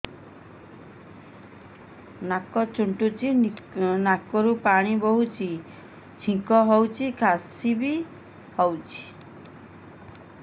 ନାକ ଚୁଣ୍ଟୁଚି ନାକରୁ ପାଣି ବହୁଛି ଛିଙ୍କ ହଉଚି ଖାସ ବି ହଉଚି